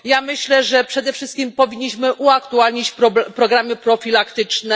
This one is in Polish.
Ja myślę, że przede wszystkim powinniśmy uaktualnić programy profilaktyczne.